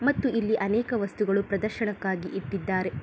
ಮತ್ತು ಇಲ್ಲಿ ಅನೇಕ ವಸ್ತುಗಳು ಪ್ರದರ್ಶನಕ್ಕಾಗಿ ಇಟ್ಟಿದ್ದಾರೆ.